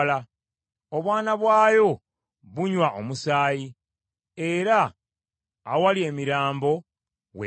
Obwana bwayo bunywa omusaayi, era awali emirambo w’ebeera.”